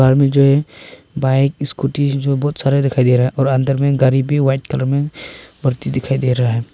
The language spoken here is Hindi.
मुझे बाइक स्कूटी बहुत सारा दिखाई दे रहा है और अंदर में गाड़ी भी व्हाइट कलर में बढ़ती दिखाई दे रहा है।